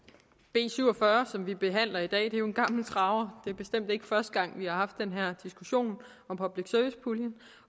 b syv og fyrre som vi behandler i dag er jo en gammel traver det er bestemt ikke første gang vi har den her diskussion om public service puljen